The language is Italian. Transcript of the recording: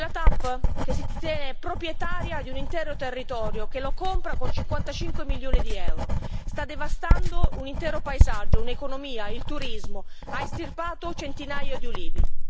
Quella TAP che si ritiene proprietaria di un intero territorio, e che lo compra con 55 milioni di euro, sta devastando un intero paesaggio, un'economia e il turismo e ha estirpato un centinaio di ulivi.